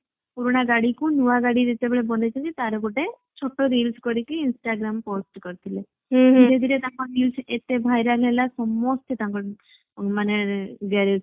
ପୁରୁଣା ଗଡିକୁ ନୂଆ ଗାଡି ଯେତେବେଳେ ବନେଇଛନ୍ତି ତାର ଗୋଟେ ଛୋଟ reel କରିକି instagram ରେ post କରିଥିଲେ ଧୀରେ ଧୀରେ ତାଙ୍କ reels ଏତେ viral ହେଲା ସମସ୍ତେ ତାଙ୍କୁ ମାନେ garage କୁ ଗଲେ।